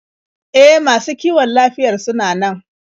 E, masu kiwon lafiyar sunan nan.